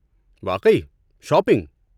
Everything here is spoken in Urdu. واقعی؟ شاپنگ؟